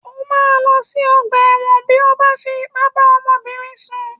O máa lọ sí ọgbà ẹ̀wọ̀n bí ó bá fi ipá bá ọmọbìnrin sùn